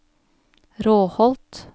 Råholt